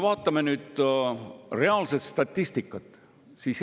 Vaatame statistikat.